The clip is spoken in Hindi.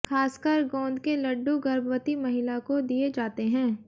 खासकर गोंद के लड्डू गर्भवती महिला को दिए जाते हैं